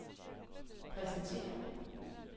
præsenterer